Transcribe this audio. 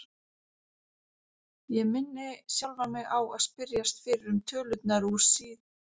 Ég minni sjálfan mig á að spyrjast fyrir um tölurnar úr síð